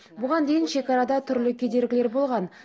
бұған дейін шекарада түрлі кедергілер болған